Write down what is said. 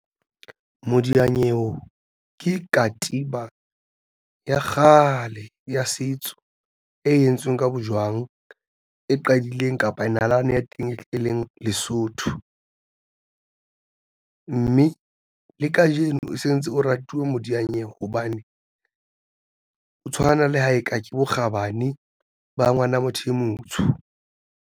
Modiyanyewe ke katiba ya kgale ya setso e entsweng ka bojwang e qadileng kapa nalane ya teng e leng Lesotho, mme le kajeno o sentse o ratilwe modiyanyewe hobane o tshwana le ha eka ke bokgabane ba ngwana motho e motsho.